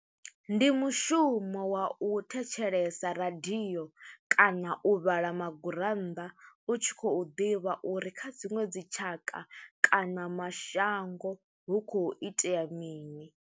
Ndi mushumo wa u thetshelesa radio kana u vhala magurannda u tshi khou ḓivha uri kha dziṅwe dzitshaka kana mashango hu khou itea mini.